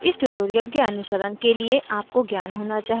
इस tutorial के अनुसरण के लिए आपको ज्ञान होना चाहिए कि